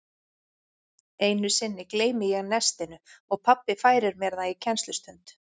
Einu sinni gleymi ég nestinu og pabbi færir mér það í kennslustund.